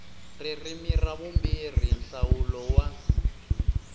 ririmi ra vumbirhi nhlawulo wa